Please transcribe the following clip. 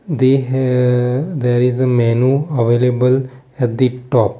they he there is a menu available at the top.